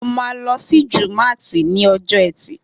Mo ma lọ sí jùmátì ni ọjọ́ etì